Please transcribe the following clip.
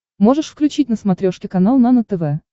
можешь включить на смотрешке канал нано тв